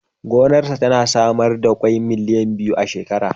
Gonarsa tana samar da ƙwai miliyan biyu a shekara.